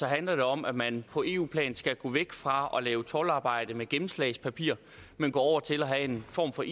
handler det om at man på eu plan skal gå væk fra at lave toldarbejde med gennemslagspapir men gå over til at have en form for